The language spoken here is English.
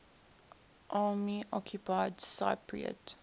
army occupied cypriot